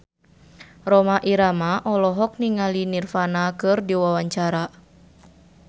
Rhoma Irama olohok ningali Nirvana keur diwawancara